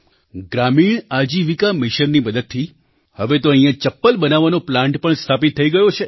ગ્રામીણ આજીવિકા મિશનની મદદથી હવે તો અહિંયા ચપ્પલ બનાવવાનો પ્લાન્ટ પણ સ્થાપિત થઈ ગયો છે